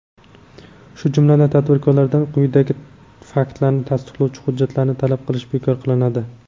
shu jumladan tadbirkorlardan quyidagi faktlarni tasdiqlovchi hujjatlarni talab qilish bekor qilinadi:.